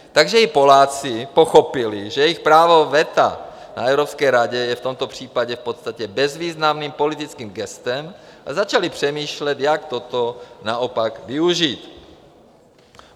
Takže i Poláci pochopili, že jejich právo veta na Evropské radě je v tomto případě v podstatě bezvýznamným politickým gestem, a začali přemýšlet, jak toto naopak využít.